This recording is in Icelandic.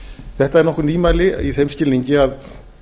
þetta eru nokkur nýmæli í þeim skilningi að